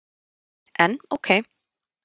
En ók.